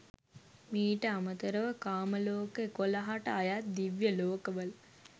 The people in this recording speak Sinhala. මීට අමතරව, කාම ලෝක 11 ට අයත් දිව්‍ය ලෝකවල